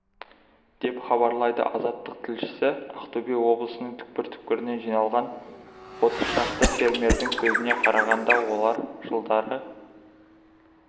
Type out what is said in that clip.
деп хабарлайды азаттық тілшісі ақтөбе облысының түпкір-түпкірінен жиналған отыз шақты фермердің сөзіне қарағанда олар жылдары